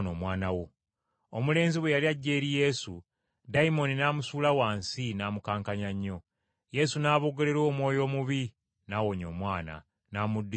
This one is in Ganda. Omulenzi bwe yali ajja eri Yesu dayimooni n’amusuula wansi n’amukankanya nnyo. Yesu n’aboggolera omwoyo omubi n’awonya omwana, n’amuddiza kitaawe.